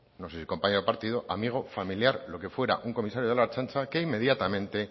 no sé si compañero de partido amigo familiar lo que fuera un comisario de la ertzaintza que inmediatamente